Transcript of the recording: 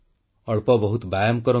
ଅଳ୍ପ ବହୁତ ବ୍ୟାୟାମ କରନ୍ତୁ